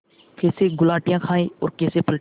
कैसे गुलाटियाँ खाएँ और कैसे पलटें